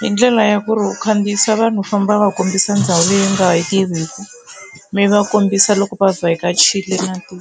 hi ndlela ya ku ri u khandziyisa vanhu u famba va kombisa ndhawu leyi nga yi tiviki mi va kombisa loko va vhakachile na tiko.